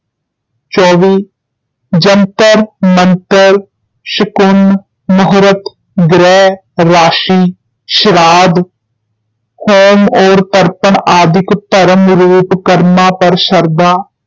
ਚੌਵੀ ਜੰਤ੍ਰ, ਮੰਤ੍ਰ, ਸ਼ਕੁਨ, ਮਹੂਰਤ, ਗ੍ਰਹਿ, ਰਾਸ਼ੀ, ਸ਼ਰਾਧ, ਹੋਮ ਔਰ ਤਰਪਣ ਆਦਿਕ ਭਰਮ ਰੂਪ ਕਰਮਾਂ ਪਰ ਸ਼ਰਧਾ